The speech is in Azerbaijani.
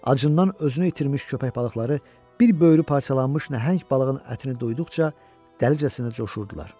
Acından özünü itirmiş köpək balıqları bir böyürü parçalanmış nəhəng balığın ətini duyduqca dəlicəsinə coşurdular.